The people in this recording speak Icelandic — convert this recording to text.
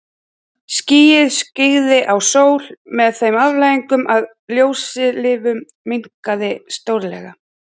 Skýið skyggði á sólu með þeim afleiðingum að ljóstillífun minnkaði stórlega.